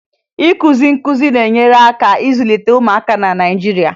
Ịkụzi nkụzi na-enyere aka ịzụlite ụmụaka na Naịjirịa